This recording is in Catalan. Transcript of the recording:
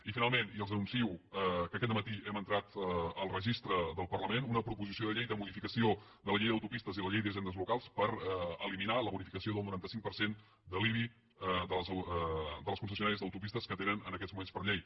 i finalment els anuncio que aquest dematí hem entrat al registre del parlament una proposició de llei de modificació de la llei d’autopistes i la llei d’hisendes locals per eliminar la bonificació del noranta cinc per cent de l’ibi de les concessionàries d’autopistes que tenen en aquest moment per llei